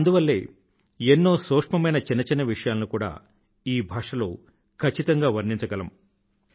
అందువల్లే ఎన్నో సూక్ష్మమైన చిన్న చిన్న విషయాలను కూడా ఈ భాషలో ఖచ్చితంగా వర్ణించగలము